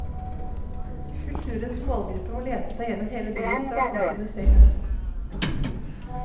Kulturens målgrupper må lete seg gjennom hele byen for å komme til museet.